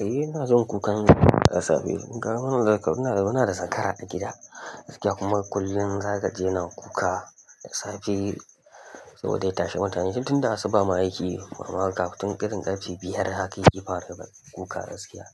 Eh ina son kukan, suna da zakara a gida, kuma kullum za kaji yana kuka da safe saboda ya tashi mutane. Tun da asuba ma yake kafin karin ƙarfi biyar haka yake fara kuka da safiya.